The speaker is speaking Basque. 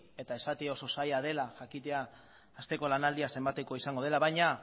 eta esatea oso zaila dela jakitea asteko lanaldia zenbatekoa izango dela baina